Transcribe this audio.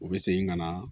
U bɛ segin ka na